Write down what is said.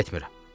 Getmirəm.